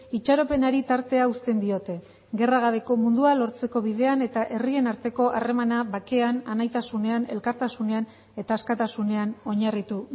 itxaropenari tartea uzten diote gerra gabeko mundua lortzeko bidean eta herrien arteko harremana bakean anaitasunean elkartasunean eta askatasunean oinarritu